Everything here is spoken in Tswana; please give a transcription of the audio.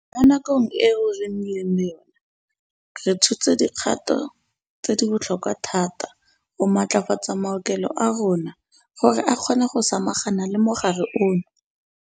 Mo nakong eo re nnileng le yona, re tshotse dikgato tse di botlhokwa thata go matlafatsa maokelo a rona gore a kgone go samagana le mogare ono.